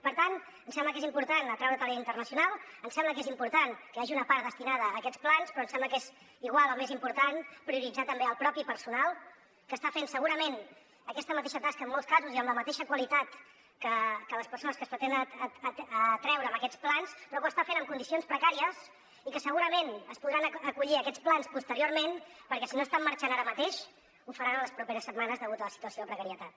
per tant ens sembla que és important atraure talent internacional ens sembla que és important que hi hagi una part destinada a aquests plans però ens sembla que és igual o més important prioritzar també el propi personal que està fent segurament aquesta mateixa tasca en molts casos amb la mateixa qualitat que les persones que es pretenen atreure amb aquests plans però que ho està fent en condicions precàries i que segurament es podran acollir a aquests plans posteriorment perquè si no estan marxant ara mateix ho faran en les properes setmanes degut a la situació de precarietat